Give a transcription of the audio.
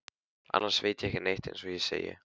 Annars veit ég ekki neitt eins og ég segi.